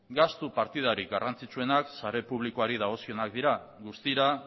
gastu partidarik garrantzitsuenak sare publikoari dagozkionak dira guztira